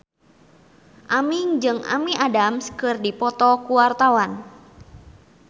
Aming jeung Amy Adams keur dipoto ku wartawan